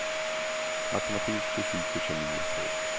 Matematik, fysik och kemi är svårt.